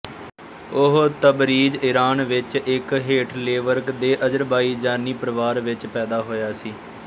ਉਹ Tabriz Iran ਵਿੱਚ ਇੱਕ ਹੇਠਲੇਵਰਗ ਦੇ ਅਜ਼ਰਬਾਈਜਾਨੀ ਪਰਿਵਾਰ ਵਿੱਚ ਪੈਦਾ ਹੋਇਆ ਸੀ